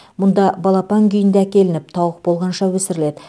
мұнда балапан күйінде әкелініп тауық болғанша өсіріледі